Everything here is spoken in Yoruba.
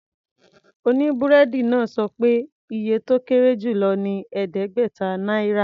Oníbúrẹ́dì náà sọ pé iye tó kéré jù lọ ní ẹ̀ẹ́dẹ́gbẹ̀ta náírà.